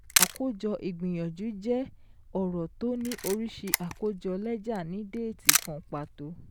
Àkójọ ìgbìyànjú jẹ́ ọ̀rọ̀ tó ní oríṣi àkójọ lẹ́jà ní déètì kan pàtó